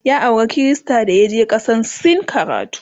ya aura Krista dayaje kasan sin karatu